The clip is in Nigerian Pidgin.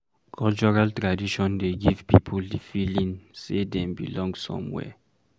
Cultural traditon dey give pipo di feeling sey dem belong somewhere